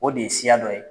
O de ye siya dɔ ye